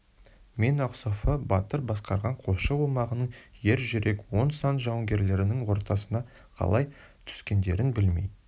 мен ақсофы батыр басқарған қосшы омағының ер жүрек он сан жауынгерлерінің ортасына қалай түскендерін білмей